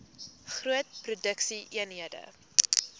groot produksie eenhede